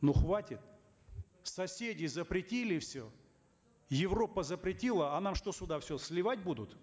ну хватит соседи запретили все европа запретила а нам что сюда все сливать будут